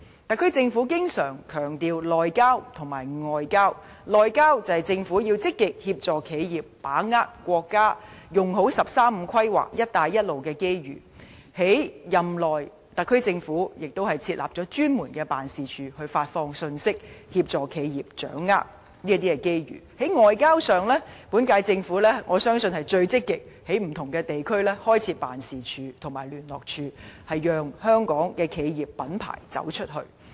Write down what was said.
特區政府經常強調"內交"及"外交"，"內交"是指政府要積極協助企業把握國家"十三五"規劃和"一帶一路"的機遇，特區政府任內亦設立專門辦事處，發放信息，協助企業掌握機遇；而在"外交"上，我相信本屆政府是歷屆政府中最積極在不同地區開設辦事處和聯絡處的，讓香港企業品牌走出去。